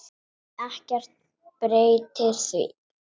Ekkert breytir því.